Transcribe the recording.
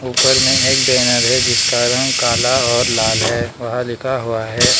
ऊपर मैं एक बैनर है जिस रंग काला और लाल है वह लिखा हुआ है।